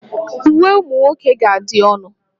Uwe ụmụ nwoke ga-adị ọnụ